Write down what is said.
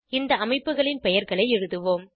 இந்த அமைப்புகளின் பெயர்களை எழுதுவோம்